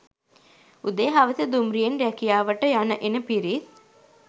උදේ හවස දුම්රියෙන් රැකියාවට යන එන පිරිස්